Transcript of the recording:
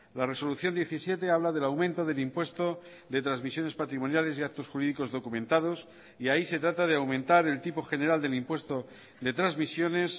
la resolución diecisiete habla del aumento del impuesto de transmisiones patrimoniales y actos jurídicos documentados y ahí se trata de aumentar el tipo general del impuesto de transmisiones